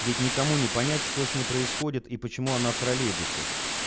ведь никому не понять что с ней происходит и почему она в троллейбусе